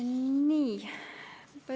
Nii.